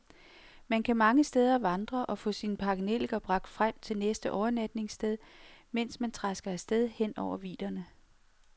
Man kan mange steder vandre og få sine pakkenelliker bragt frem til næste overnatningssted, mens man trasker af sted hen over vidderne.